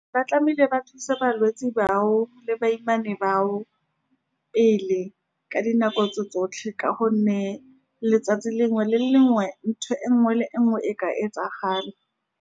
Ba tlamehile ba thusa balwetsi bao le bashimane bao pele ka dinako tse tsotlhe, ka gonne letsatsi lengwe le lengwe ntho e nngwe le nngwe e ka etsagala.